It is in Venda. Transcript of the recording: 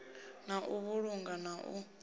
na u vhulunga na u